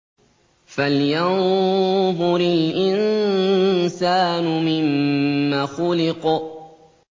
فَلْيَنظُرِ الْإِنسَانُ مِمَّ خُلِقَ